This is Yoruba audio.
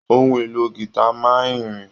Ohun èlò gita máa n ìrìn.